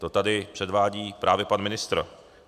To tady předvádí právě pan ministr.